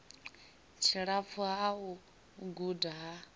tshilapfu ha u guda ha